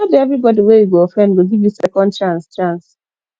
no be everybody wey you go offend go give you second chance chance